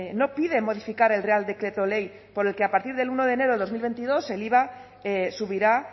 no pide modificar el real decreto ley por el que a partir del uno de enero de dos mil veintidós el iva subirá